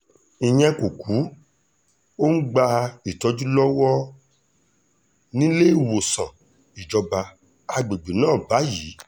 ìyẹn kò kù ó ń gba ìtọ́jú lọ́wọ́ níléemọ̀sán ìjọba àgbègbè náà báyìí